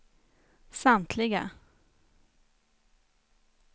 samtliga